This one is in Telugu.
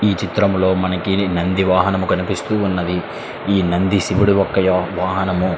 ఈ చిత్రం లో నంది వాహనము కనిపిస్తున్నది ఇ నంది శివుని యొక్క వాహనము.